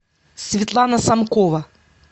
светлана самкова